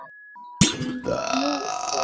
Nú þjónar